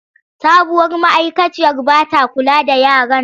Sabuwar ma’aikaciyar ba ta kula da yaran.